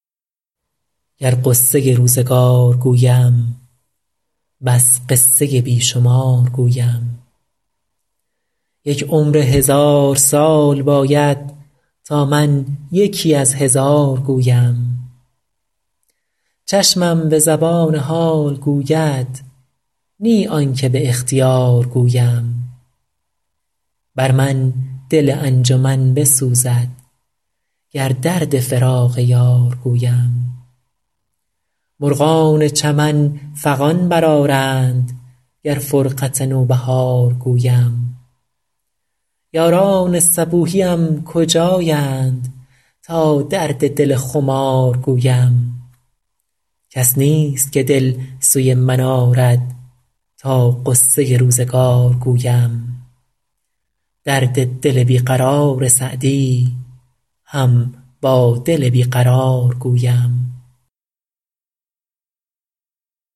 گر غصه روزگار گویم بس قصه بی شمار گویم یک عمر هزار سال باید تا من یکی از هزار گویم چشمم به زبان حال گوید نی آن که به اختیار گویم بر من دل انجمن بسوزد گر درد فراق یار گویم مرغان چمن فغان برآرند گر فرقت نوبهار گویم یاران صبوحیم کجایند تا درد دل خمار گویم کس نیست که دل سوی من آرد تا غصه روزگار گویم درد دل بی قرار سعدی هم با دل بی قرار گویم